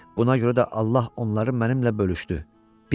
Buna görə də Allah onları mənimlə bölüşdü.